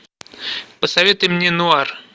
посоветуй мне нуар